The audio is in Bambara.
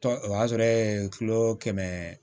Tɔ o y'a sɔrɔ e ye kilo kɛmɛ